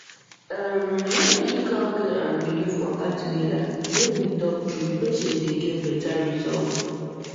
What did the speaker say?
erm when medical care and belief waka together make we talk true patient dey get better result